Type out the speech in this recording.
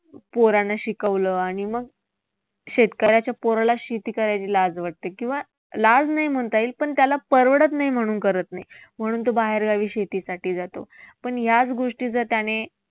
पोरांना शिकवलं आणि मग शेतकऱ्याच्या पोराला शेती करायची लाज वाटते किंवा लाज नाही म्हणता येईल पण त्याला परवडत नाही म्हणून करत नाही. म्हणून तो बाहेर गावी शेतीसाठी जातो. पण याच गोष्टी जर त्याने